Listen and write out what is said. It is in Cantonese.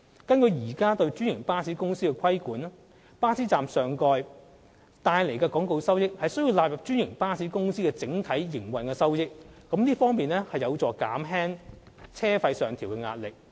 根據現時對專營巴士公司的規管安排，巴士站上蓋帶來的廣告收益須納入專營巴士公司的整體營運收益，這有助減輕車資上調的壓力。